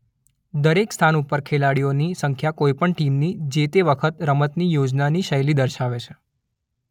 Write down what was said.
દરેક સ્થાન ઉપર ખેલાડીઓની સંખ્યા કોઇપણ ટીમની જે તે વખતે રમતની યોજનાની શૈલી દર્શાવે છે.